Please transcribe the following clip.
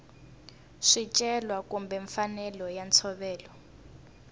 swicelwa kumbe mfanelo ya ntshovelo